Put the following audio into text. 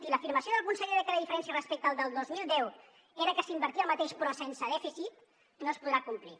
i l’afirmació del conseller que la diferència respecte al del dos mil deu era que s’invertia el mateix però sense dèficit no es podrà complir